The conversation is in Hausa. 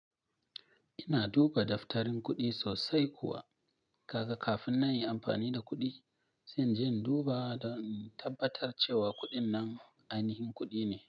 Ina duba daftarin kuɗi sosai kuwa. Kaka kafin na yi amfani da kuɗi, sai in je in duba dan in tabbatar cewa kuɗin nan ainihin kuɗi ne.